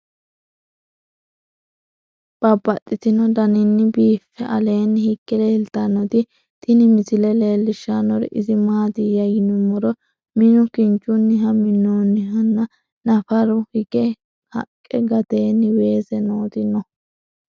Babaxxittinno daninni biiffe aleenni hige leelittannotti tinni misile lelishshanori isi maattiya yinummoro minu kinchchunni minoonnihu nna naffara hige haqqe , gateenni weesse nootti noo.